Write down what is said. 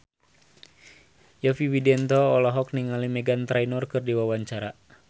Yovie Widianto olohok ningali Meghan Trainor keur diwawancara